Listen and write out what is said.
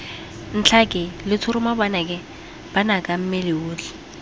ntlhake letshoroma banaka mmele otlhe